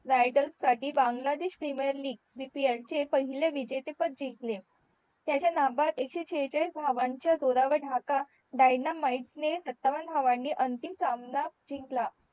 riders साठी Bangladesh premier league ह्याचे पहिले विजेते पद जिंकले त्याचे नाबाद एक शे सेहचालीस धावांच्या जोरावर ढाका dyanamaid ने सत्तावन धावाणे अंतिम सामाना जिंकला